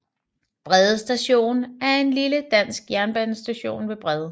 Brede Station er en lille dansk jernbanestation ved Brede